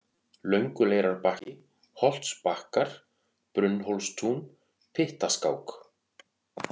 Lönguleirarbakki, Holtsbakkar, Brunnhólstún, Pyttaskák